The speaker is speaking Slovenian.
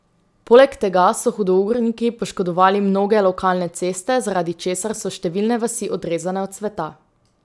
Poleg tega so hudourniki poškodovali mnoge lokalne ceste, zaradi česar so številne vasi odrezane od sveta.